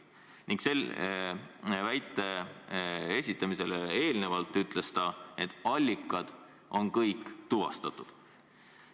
" Ning enne selle väite esitamist ütles ta, et allikad on kõik tuvastatud.